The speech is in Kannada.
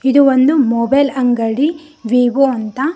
ಇದು ಒಂದು ಮೊಬೈಲ್ ಅಂಗಡಿ ವಿವೋ ಅಂತ.